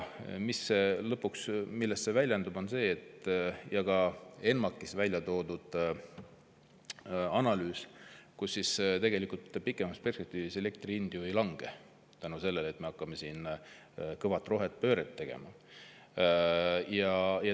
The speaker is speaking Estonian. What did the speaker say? Lõpuks väljendub see selles – ka ENMAK‑is välja toodud analüüs –, et tegelikult pikemas perspektiivis elektri hind ei lange tänu sellele, et me hakkame siin kõva rohepööret tegema.